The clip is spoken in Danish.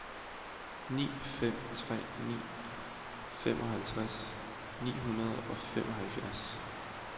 ni fem tre ni femoghalvtreds ni hundrede og femoghalvfems